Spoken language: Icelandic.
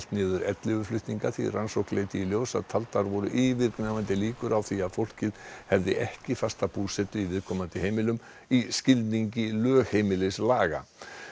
niður ellefu flutninga því rannsókn Þjóðskrár leiddi í ljós að taldar voru yfirgnæfandi líkur á því að fólkið hefði ekki fasta búsetu á viðkomandi heimilum í skilning lögheimilislaga